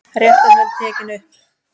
Réttarhöld tekin upp